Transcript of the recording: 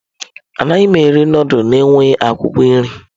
Anaghị m eri nudulu na-enweghị akwụkwọ nri.